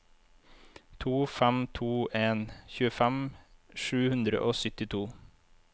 to fem to en tjuefem sju hundre og syttito